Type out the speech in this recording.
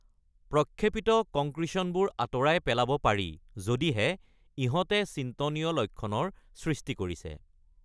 প্ৰক্ষেপিত কংক্ৰিচনবোৰ আঁতৰাই পেলাব পাৰি যদিহে ইহঁতে চিন্তনীয় লক্ষণৰ সৃষ্টি কৰিছে।